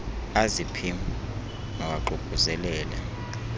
azi pim mawaququzelelel